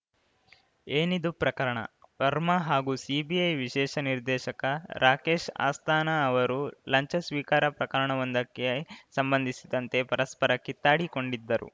ಏನಿದು ಪ್ರಕರಣ ವರ್ಮಾ ಹಾಗೂ ಸಿಬಿಐ ವಿಶೇಷ ನಿರ್ದೇಶಕ ರಾಕೇಶ್‌ ಅಸ್ಥಾನಾ ಅವರು ಲಂಚ ಸ್ವೀಕಾರ ಪ್ರಕರಣವೊಂದಕ್ಕೆ ಸಂಬಂಧಿಸಿದಂತೆ ಪರಸ್ಪರ ಕಿತ್ತಾಡಿಕೊಂಡಿದ್ದರು